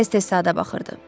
Tez-tez saata baxırdı.